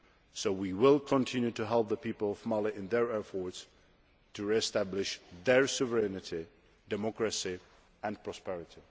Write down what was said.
So we will continue to help the people of Mali in their efforts to re establish their sovereignty, democracy and prosperity.